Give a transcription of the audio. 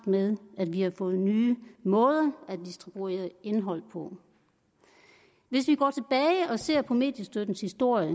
med at vi har fået nye måder at distribuere indhold på hvis vi går tilbage og ser på mediestøttens historie